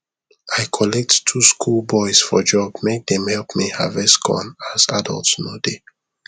i collect two school boys for job make them help me harvest corn as adult no dey